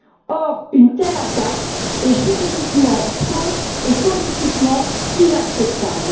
Or, une telle attaque est juridiquement fausse et politiquement inacceptable.